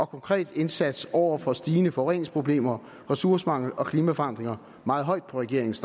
konkret indsats over for stigende forureningsproblemer ressourcemangel og klimaforandringer meget højt på regeringens